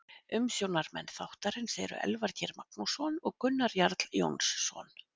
Umsjónarmenn þáttarins eru Elvar Geir Magnússon og Gunnar Jarl Jónsson.